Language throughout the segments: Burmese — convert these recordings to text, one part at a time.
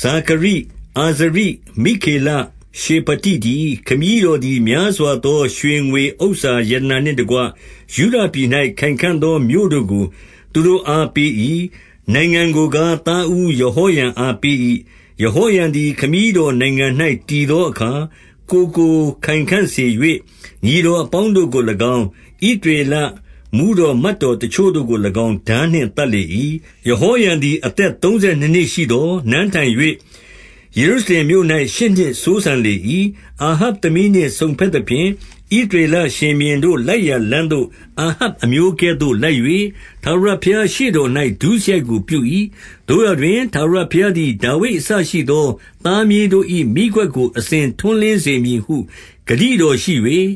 ဇာခရိ၊ အာဇရိ၊ မိက္ခေလ၊ ရှေဖတိတည်း။ 3 ခမည်းတော်သည်များစွာသော ရွှေငွေဥစ္စာ ရတနာနှင့်တကွ ယုဒပြည်၌ ခိုင်ခံ့သောမြို့တို့ကို သူတို့ အား ပေး၏။ နိုင်ငံကိုကား၊ သားဦး ယဟောရံအား ပေး၏။ 4 ယဟောရံသည် ခမည်းတော်နိုင်ငံ၌ တည်သော အခါ၊ ကိုယ်ကို ခိုင်ခံ့စေ၍၊ ညီတော်အပေါင်းတို့ကို၎င်း၊ ဣသရေလမှူးတော် မယ်တော်တချို့တို့ကို၎င်း၊ ထားနှင့် သတ်လေ၏။ 5 ယဟောရံသည် အသက်သုံးဆယ်နှစ်နှစ်ရှိသော်၊ နန်းထိုင်၍ ယေရုရှလင်မြို့၌ ရှစ်နှစ်စိုးစံလေ၏။ 6 အာဟပ်သမီးနှင့်စုံဘက်သဖြင့်၊ ဣသရေလ ရှင်ဘုရင်တို့လိုက်ရာ လမ်းသို့ အာဟပ်အမျိုးကဲ့သို့ လိုက်၍၊ ထာဝရဘုရားရှေ့တော်၌ ဒုစရိုက်ကို ပြု၏။ 7 သို့ရာတွင် ထာဝရဘုရားသည် ဒါဝိဒ်အစရှိသော သားမြေးတို့၏ မီးခွက်ကို အစဉ်ထွန်းလင်းစေမည်ဟု ဂတိတော်ရှိ၍၊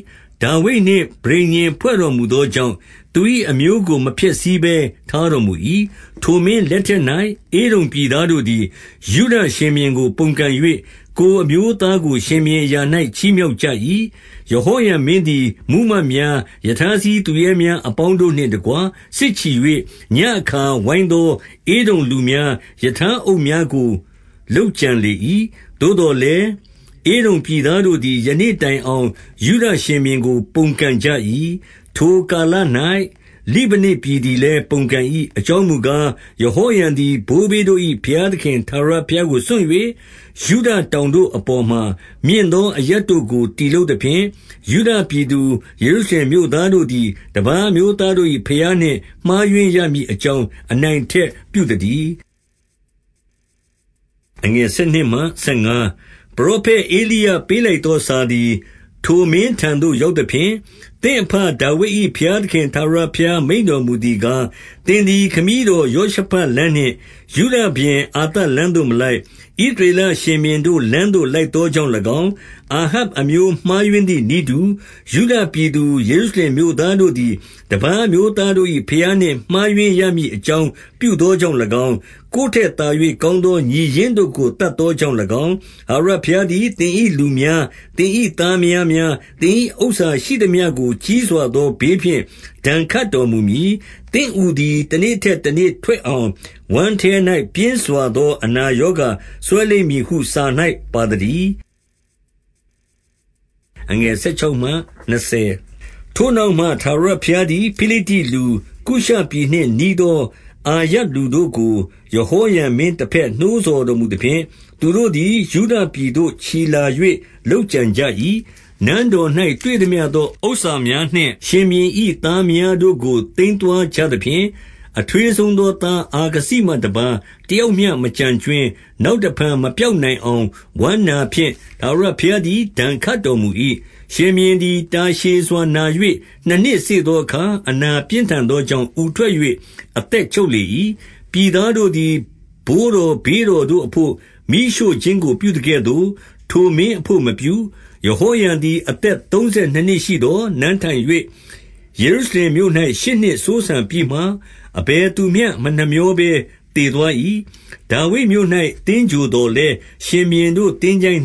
ဒါဝိဒ်နှင့်ပဋိညာဉ် ဖွဲ့တော်မူသောကြောင့်၊ သူ၏အမျိုးကို မဖျက်ဆီးဘဲ ထားတော်မူ၏။ 8 ထိုမင်းလက်ထက်၌၊ ဧဒုံပြည်သားတို့သည် ယုဒ ရှင်ဘုရင်ကို ပုန်ကန်၍၊ ကိုယ်အမျိုးသားကို ရှင်ဘုရင် အရာ၌ ချီးမြှောက်ကြ၏။ 9 ယဟောရံမင်းသည် မှူးမတ်များ၊ ရထားစီးသူရဲများအပေါင်းတို့နှင့်တကွ စစ်ချီ၍၊ ညဉ့်အခါ ဝိုင်းသော ဧဒုံလူများ၊ ရထားအုပ်များကို လုပ်ကြံလေ၏။ 10 သို့သော်လည်း၊ ဧဒုံပြည်သားတို့သည် ယနေ့ တိုင်အောင် ယုဒရှင်ဘုရင်ကိုပုန်ကန်ကြ၏။ ထိုကာလ၌၊ လိဗနပြည်သည်လည်း ပုန်ကန်၏အကြောင်းမူကား၊ ယဟောရံသည် ဘိုးဘေးတို့၏ ဘုရားသခင် ထာဝရဘုရား ကို စွန့်၍၊ 11 ယုဒတောင်တို့ အပေါ်မှာ၊ မြင့်သောအရပ်တို့ကို တည်လုပ်သဖြင့်၊ ယုဒပြည်သူ၊ ယေရုရှလင်မြို့သားတို့ သည် တပါးအမျိုးသားတို့၏ ဘုရားနှင့် မှားယွင်းရမည် အကြောင်း၊ အနိုင်အထက်ပြုသတည်း။ 12 ပရောဖက်ဧလိယ ပေးလိုက်သောစာသည် ထိုမင်းထံသို့ ရောက်သဖြင့်၊ သင့်အဘဒါဝိဒ်၏ ဘုရား သခင် ထာဝရဘုရားမိန့်တော်မူသည်ကား၊ သင်သည် ခမည်းတော်ယောရှဖတ်လမ်းနှင့် ယုဒရှင်ဘုရင်အာသ လမ်းသို့ မလိုက်၊ 13 ဣသရေလရှင်ဘုရင်တို့ လမ်းသို့လိုက်သော ကြောင့်၎င်း၊ အာဟပ်အမျိုး မှားယွင်းသည်နည်းတူ ယုဒ ပြည်သူ၊ ယေရုရှလင်မြို့သားတို့သည်၊ တပါးအမျိုးသားတို့ ၏ ဘုရားနှင့်မှားယွင်းရမည် အကြောင်းပြုသောကြောင့်၎င်း၊ ကိုယ်ထက်သာ၍ကောင်းသော ညီရင်းတို့ကို သတ် သောကြောင့်၎င်း၊ 14 ထာဝရဘုရားသည် သင်၏လူများ၊ သင်၏သား မယားများ၊ သင်၏ဥစ္စာရှိသမျှကို ကြီးစွာသောဘေးဖြင့် ဒဏ်ခတ်တော်မူမည်။ 15 သင့်အူသည် တနေ့ထက်တနေ့ထွက်အောင်၊ ဝမ်းထဲ၌ ပြင်းစွာ သောအနာရောဂါစွဲလိမ့်မည်ဟု စာ၌ပါသတည်း။ 16 ထိုနောက်မှ၊ ထာဝရဘုရားသည် ဖိလိတ္တိလူ၊ ကုရှပြည်နှင့်နီးသော အာရပ်လူတို့ကို၊ ယဟောရံမင်း တဘက် နှိုးဆော်တော်မူသဖြင့်၊ 17 သူတို့သည် ယုဒပြည်သို့ချီလာ၍ လုပ်ကြံကြ၏။ နန်းတော်၌တွေ့သမျှသော ဥစ္စာများနှင့် ရှင်ဘုရင်၏ သားမယားများတို့ကို သိမ်းသွားကြသဖြင့်၊ အထွေးဆုံး သောသား အာခဇိမှတပါး၊ တယောက်မျှမကျန်ကြွင်း။ 18 နောက်တဖန် မပျောက်နိုင်သောဝမ်းနာဖြင့် ထာဝရဘုရားသည် ဒဏ်ခတ်တော်မူ၏။ 19 ရှင်ဘုရင်သည် တာရှည်စွာနာ၍၊ နှစ်နှစ်စေ့ သောအခါ၊ အနာပြင်းထန်သောကြောင့်၊ အူထွက်၍ အသက်ချုပ်လေ၏။ ပြည်သားတို့ သည်ဘိုးတော် ဘေးတော်တို့အဘို့ မီးရှို့ခြင်းကိုပြုသကဲ့သို့၊ ထိုမင်း အဘို့မပြု။ 20 ယဟောရံသည် အသက်သုံးဆယ်နှစ်နှစ်ရှိသော်၊ နန်းထိုင်၍ ယေရုရှလင်မြို့၌ ရှစ်နှစ်စိုးစံပြီးမှ၊ အဘယ် သူမျှ မနှမြောဘဲသေသွား၏။ ဒါဝိဒ်မြို့၌ သင်္ဂြိုဟ်သော် လည်း၊ ရှင်ဘုရင်တို့ သင်္ချိုင